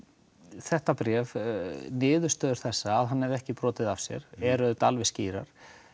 þetta bréf niðurstöður þessar að hann hafi ekki brotið af sér eru auðvitað alveg skýrar